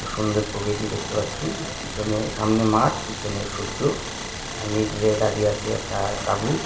খুব সুন্দর প্রকৃতি দেখতে পাচ্ছি পিছনে সামনে মাঠ পিছনে সূর্য আর মিডিল এ দাঁড়িয়ে আছি একটা-আ তাবু।